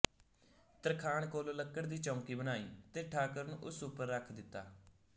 ਤਰਖਾਣ ਕੋਲੋ ਲੱਕੜ ਦੀ ਚੌਂਕੀ ਬਣਾਈ ਤੇ ਠਾਕੁਰ ਨੂੰ ਉਸ ਉੱਪਰ ਰੱਖ ਦਿੱਤਾ